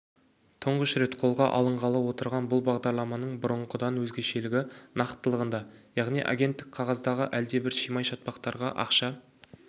тұңғыш рет қолға алынғалы отырған бұл бағдарламаның бұрынғыдан өзгешелігі нақтылығында яғни агенттік қағаздағы әлдебір шимай-шатпақтарға ақша